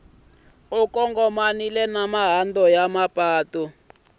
kongomanile na mahandza ya mapatu